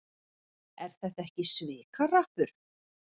Er þetta ekki svikahrappur?